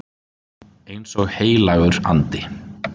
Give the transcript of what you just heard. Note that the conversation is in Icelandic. Eins og heilagur andi.